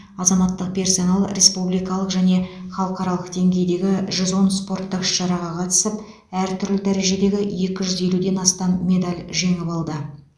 азаматтық персонал республикалық және халықаралық деңгейдегі жүз он спорттық іс шараға қатысып әр түрлі дәрежедегі екі жүз елуден астам медал жеңіп алды